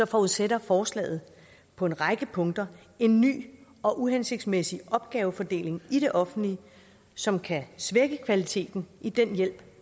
forudsætter forslaget på en række punkter en ny og uhensigtsmæssig opgavefordeling i det offentlige som kan svække kvaliteten i den hjælp